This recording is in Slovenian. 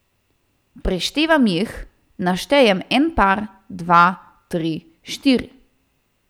Preštevam jih, naštejem en par, dva, tri, štiri.